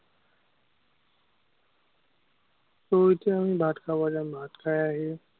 তো এতিয়া আমি ভাত খাব যাম। ভাত খাই আহি